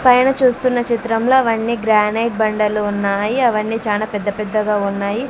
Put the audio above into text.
పైన చూస్తున్నా చిత్రంలో అవన్నీ గ్రానైట్ బండలు ఉన్నాయి అవన్నీ చానా పెద్ద-పెద్ద గా ఉన్నాయి.